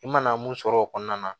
I mana mun sɔrɔ o kɔnɔna na